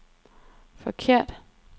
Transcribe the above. forkerte